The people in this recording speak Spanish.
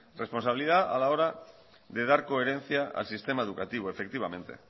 responsabilidad a la hora de dar coherencia al sistema educativo efectivamente